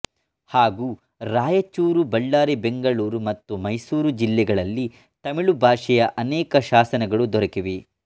ಹಾಗೂ ರಾಯಚೂರು ಬಳ್ಳಾರಿ ಬೆಂಗಳೂರು ಮತ್ತು ಮೈಸೂರು ಜಿಲ್ಲೆಗಳಲ್ಲಿ ತಮಿಳು ಭಾಷೆಯ ಅನೇಕ ಶಾಸನಗಳು ದೊರಕಿವೆ